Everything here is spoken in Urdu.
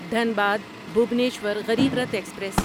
دھنباد بھوبنیشور غریب رتھ ایکسپریس